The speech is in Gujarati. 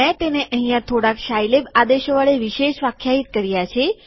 મેં તેને અહીંયા થોડાક સાઈલેબ આદેશો વડે વિશેષ વ્યાખ્યાયિત કર્યા છે